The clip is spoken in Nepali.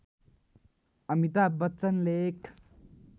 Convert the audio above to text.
अमिताभ बच्चनले एक